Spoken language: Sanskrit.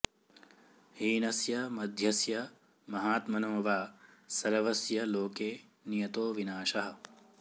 हीनस्य मध्यस्य महात्मनो वा सर्वस्य लोके नियतो विनाशः